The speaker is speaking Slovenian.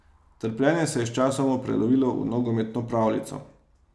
Trpljenje se je sčasoma prelevilo v nogometno pravljico.